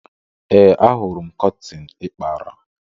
Ee, Ahụrụ m kọtịn ị kpara.